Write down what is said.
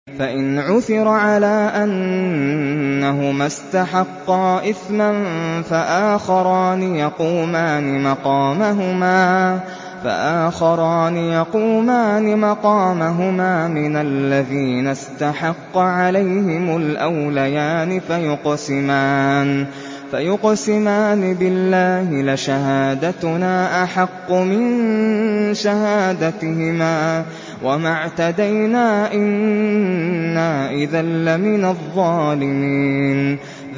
فَإِنْ عُثِرَ عَلَىٰ أَنَّهُمَا اسْتَحَقَّا إِثْمًا فَآخَرَانِ يَقُومَانِ مَقَامَهُمَا مِنَ الَّذِينَ اسْتَحَقَّ عَلَيْهِمُ الْأَوْلَيَانِ فَيُقْسِمَانِ بِاللَّهِ لَشَهَادَتُنَا أَحَقُّ مِن شَهَادَتِهِمَا وَمَا اعْتَدَيْنَا إِنَّا إِذًا لَّمِنَ الظَّالِمِينَ